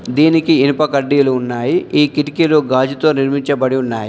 దీనికి ఇనుప కడ్డీలు ఉన్నాయి. ఈ కిటికీలు గాజుతో నిర్మించబడి ఉన్నాయి.